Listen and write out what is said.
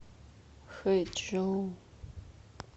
хэчжоу